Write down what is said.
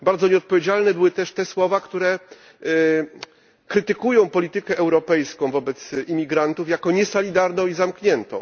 Bardzo nieodpowiedzialne były też te słowa, które krytykują politykę europejską wobec imigrantów jako niesolidarną i zamkniętą.